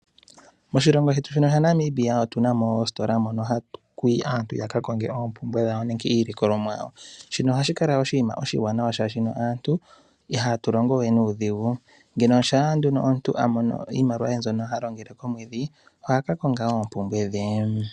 Moshilongo shetu shino shaNamibia otu na mo oositola mono aantu ha ya yi ya ka konge oompumbwe dhawo nenge iilikolomwa yawo. Shino oha shi kala oshinima oshiwanawa, shashino aantu iha tu longo we nuudhigu. Ando sha omuntu amono iimaliwa ye mbyono ha longitha, komwedhi oha ka konga oompumbwe dhe.